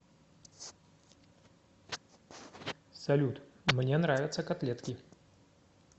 салют мне нравятся котлетки